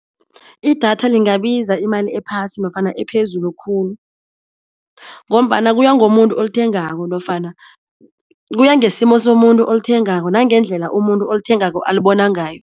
I-data lingabiza imali ephasi nofana ephezulu khulu, ngombana kuya ngomuntu olithengako nofana kuya ngesimo somuntu olithengako nangendlela umuntu olithengako alibona ngayo.